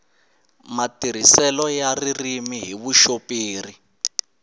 matirhiselo ya ririmi hi vuxoperi